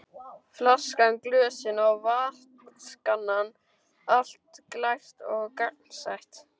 Flaskan, glösin og vatnskannan, allt glært og gagnsætt.